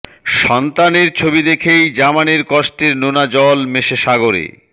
সন্তানের ছবি দেখেই জামানের কষ্টের নোনা জল মেশে সাগরে